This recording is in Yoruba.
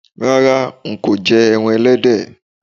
Rárá, nkò je eran elédè